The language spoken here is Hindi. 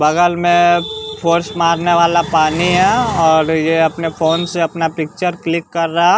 बगल में फोर्स मारने वाला पानी है और ये अपने फोन से अपना पिक्चर क्लिक कर रहा--